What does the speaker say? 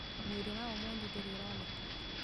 Mwĩrĩ wa Omondi ndũrĩ ũroneka.